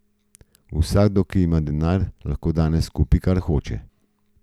Vsakdo, ki ima denar, lahko danes kupi, kar hoče.